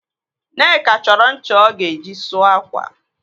Nneka chọrọ ncha ọ ga-eji sụọ ákwà.